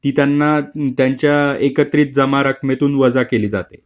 ती त्यांना त्यांच्या एकत्रित जमा रकमेतून वजा केली जाते.